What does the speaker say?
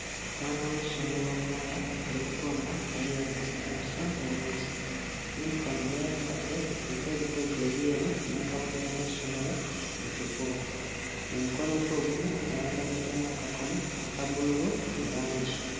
Omwana w'essomero omuwala ali kutunga nga yeeyambisa empiso ne wuzi, yunifoomu gy'ayambadde eriko ebitogi ebyeru n'akabonero k'essomero mu kifuba, mu mukono gwe ogumu ayambaliddemu akakomo aka bbululu mu langi.